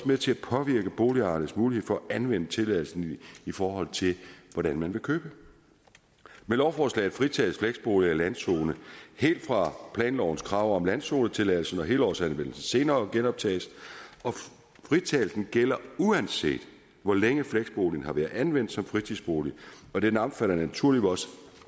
med til at påvirke boligejernes mulighed for at anvende tilladelsen i forhold til hvordan man vil købe med lovforslaget fritages fleksboliger i landzoner helt fra planlovens krav om landzonetilladelse når helårsanvendelsen senere genoptages og fritagelsen gælder uanset hvor længe fleksboligen har været anvendt som fritidsbolig og den omfatter naturligvis